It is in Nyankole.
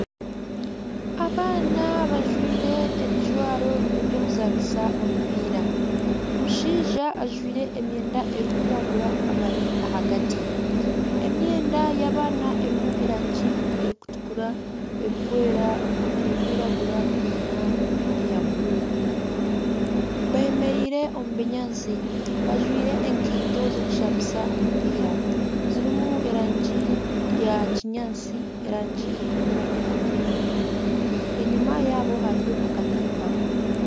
Abaana bajwire ebijwaro eby'okuzanisa omupiira. Omushaija ajwaire emyenda erikwiragura abari ahagati. Emyenda y'abaana erimu erangi erikutukura, erikwera, erikwiragura nana eya bururu. Bemereire omu binyaatsi bajwaire enkaito z'okushambisa omupiira. zirimu erangi eya kinyaatsi, erangi erikutukura, erangi eya bururu. Enyima yaabo hariyo akatimba.